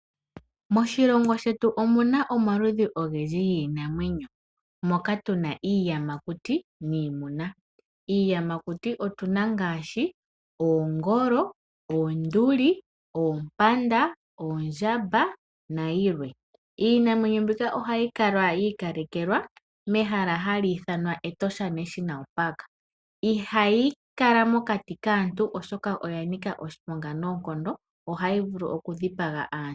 Moshilomgo shetu omuna omaludhi ogendji giinamwenyo, moka tuna iiyamakuti niimuna. Iiyamakuti otu na ngaashii, oongolo, oonduli, oompanda, oondjamba nayilwe. Iinamwenyo mbika ohayi kala yiikalekelwa mehala hali ithanwa Etosha National Park. Ihayi kalamokati kaantu, oshoka oyanika oshiponga noonkondo, ohayi vulu okudhipa aantu.